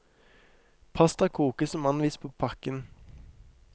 Pasta kokes som anvist på pakken.